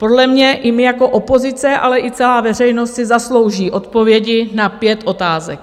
Podle mě i my jako opozice, ale i celá veřejnost si zaslouží odpovědi na pět otázek.